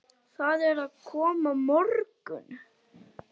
Það er að koma morgunn